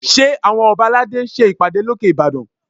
Ṣé àwọn ọba aládé ń ṣe ìpàdé lókè Ìbàdàn?